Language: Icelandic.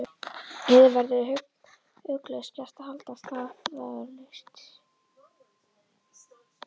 Yður verður ugglaust gert að halda af stað tafarlaust.